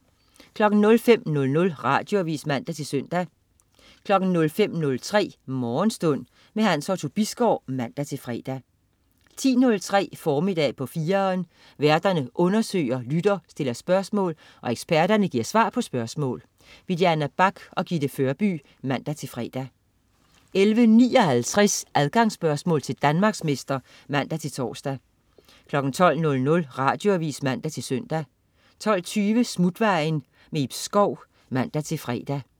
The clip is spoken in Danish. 05.00 Radioavis (man-søn) 05.03 Morgenstund. Hans Otto Bisgaard (man-fre) 10.03 Formiddag på 4'eren. Værterne undersøger, lytterne stiller spørgsmål, og eksperterne giver svar på spørgsmål. Diana Bach og Gitte Førby (man-fre) 11.59 Adgangsspørgsmål til Danmarksmester (man-tors) 12.00 Radioavis (man-søn) 12.20 Smutvejen. Ib Schou (man-fre)